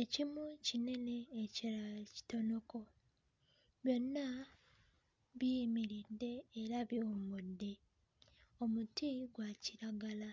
ekimu kinene ekirala kitonoko. Byonna biyimiridde era biwummudde omuti gwa kiragala